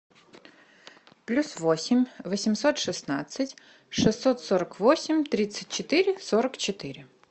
плюс восемь восемьсот шестнадцать шестьсот сорок восемь тридцать четыре сорок четыре